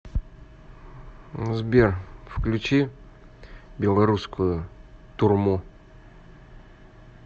сбер включи беларускую турму